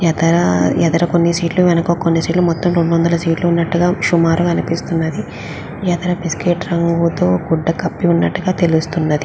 ఎదర ఎదర కొన్ని సీట్ లు వెనక కొన్ని సీట్ లు మొత్తం రెండు వందల సీట్ లు ఉన్నట్టుగా సుమారుగా అనిపిస్తున్నది ఎదర బిస్కెట్ రంగుతో గుడ్డ కప్పి ఉన్నట్టుగా తెలుసున్నది.